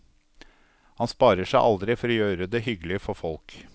Han sparer seg aldri for å gjøre det hyggelig for folk.